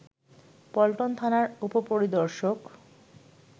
পল্টন থানার উপপরিদর্শক